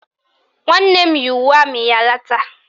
Nwanne m yi uwe amị ya lata